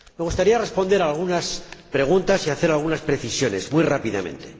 Me gustaría responder a algunas preguntas y hacer algunas precisiones muy rápidamente.